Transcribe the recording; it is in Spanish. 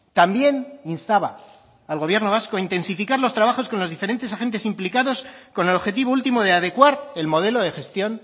también instaba al gobierno vasco a intensificar los trabajos con los diferentes agentes implicados con el objetivo último de adecuar el modelo de gestión